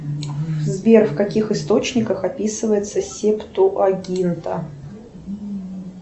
сбер в каких источниках описывается септуагинта